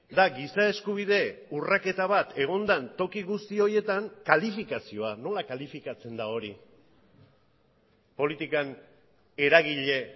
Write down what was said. da giza eskubide urraketa bat egon den toki guzti horietan kalifikazioa nola kalifikatzen da hori politikan eragile